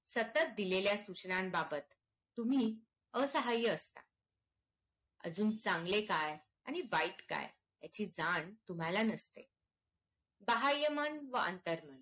सतत दिलेल्या सूचनांन बाबत तुम्ही असह्य असता अजून चांगले काय आणि वाईट काय ह्याची जाण तुम्हाला नसते बाह्यमन व अंतरमन